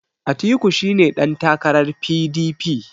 Atiku shi ne ɗantakarar P.D.P